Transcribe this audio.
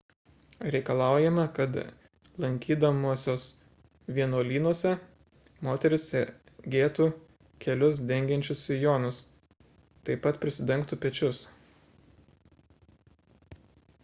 reikalaujama kad lankydamosios vienuolynuose moterys segėtų kelius dengiančius sijonus taip pat prisidengtų pečius